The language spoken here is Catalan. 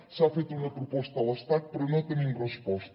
s’ha fet una proposta a l’estat però no tenim resposta